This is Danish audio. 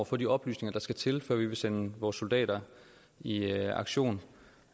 få de oplysninger der skal til før vi vil sende vores soldater i i aktion